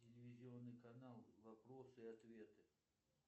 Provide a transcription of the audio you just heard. телевизионный канал вопросы и ответы